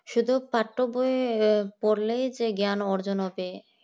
শুধু পাঠক ভাবে পড়লেই যে জ্ঞান অর্জন হবে